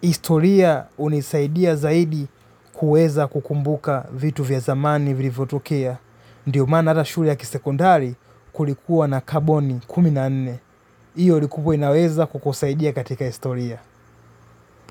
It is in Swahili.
Historia unisaidia zaidi kueza kukumbuka vitu vya dhamani vilivotokea. Ndiyo mana hata shuri ya kisekondari kulikuwa na karboni kuminne. Iyo likubwa inaweza kukusaidia katika historia.